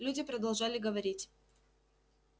люди продолжали говорить